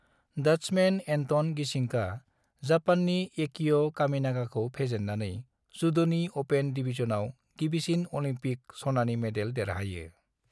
Dutchman Anton गीसिंकआ जापाननि एकियो कामिनागाखौ फेजेननानै जुड'नि अपेन डिबिजनाव गिबिसिन अलिम्पिक सनानि मेडेल देरहायो।